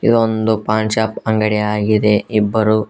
ಇದು ಒಂದು ಪಾನ್ ಶಾಪ್ ಅಂಗಡಿಯಾಗಿದೆ ಇಬ್ಬರು.